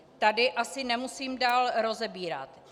Tady asi nemusím dál rozebírat.